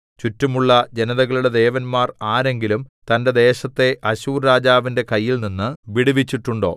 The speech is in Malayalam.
ചുറ്റുമുള്ള ജനതകളുടെ ദേവന്മാർ ആരെങ്കിലും തന്റെ ദേശത്തെ അശ്ശൂർരാജാവിന്റെ കയ്യിൽനിന്ന് വിടുവിച്ചിട്ടുണ്ടോ